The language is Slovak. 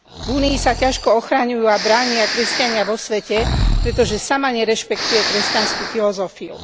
Únii sa ťažko ochraňujú a bránia kresťania vo svete, pretože sama nerešpektuje kresťanskú filozofiu.